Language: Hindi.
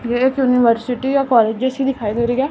ये एक यूनिवर्सिटी और कॉलेज जैसी दिखाई दे रही है।